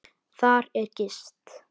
Þar er gist.